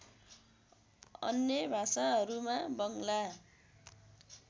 अन्य भाषाहरूमा बङ्ग्ला